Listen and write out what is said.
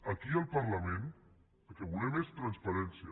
aquí al parlament el que volem és transparència